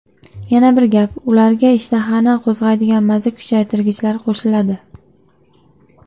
Yana bir gap, ularga ishtahani qo‘zg‘aydigan maza kuchaytirgichlar qo‘shiladi.